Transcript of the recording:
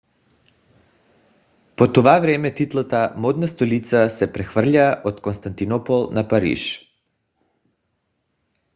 по това време титлата модна столица се прехвърля от константинопол на париж